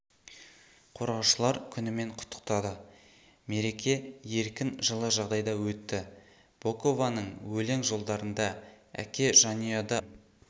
қорғаушылар күнімен құттықтады мереке еркін жылы жағдайда өтті бокованың өлең жолдарында әке жанұяда басты орын